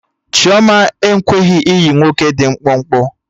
Chioma ekweghị ịyị nwoke dị mkpụmkpụ